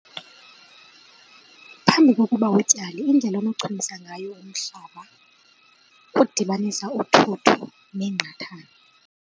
Phambi kokuba utyale indlela onochumisa ngayo umhlaba kudibanisa uthuthu neengqathani.